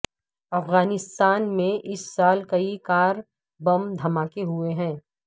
افغانستان میں اس سال کئی کار بم دھماکے ہوئے ہیں